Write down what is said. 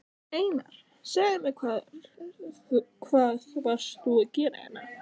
Einar, segðu mér hvað varst þú að gera hérna?